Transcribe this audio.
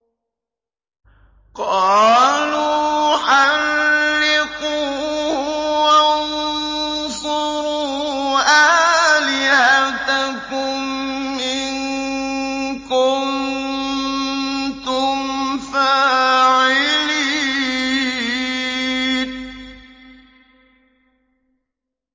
قَالُوا حَرِّقُوهُ وَانصُرُوا آلِهَتَكُمْ إِن كُنتُمْ فَاعِلِينَ